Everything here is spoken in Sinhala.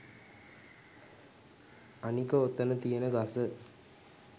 අනික ඔතන තියෙන ගස